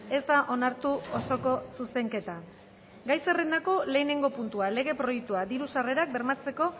ez da onartu osoko zuzenketa gai zerrendako lehenengo puntua lege proiektua diru sarrerak bermatzeko